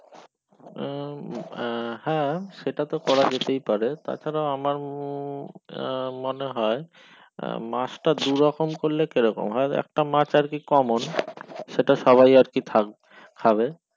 উম আহ হ্যাঁ সেটাতো করা যেতেই পারে তাছাড়া আমার আহ মনে হয় আহ মাছটা দুরকম করলে কেমন হয় একটা মাছ আর কি common সেটা সবাই আর কি খাবে